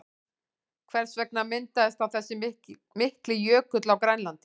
Hvers vegna myndaðist þá þessi mikli jökull á Grænlandi?